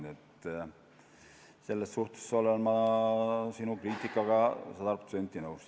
Nii et selles suhtes olen ma sinu kriitikaga sada protsenti nõus.